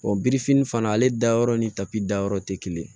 birifini fana ale dayɔrɔ ni tapi dayɔrɔ tɛ kelen ye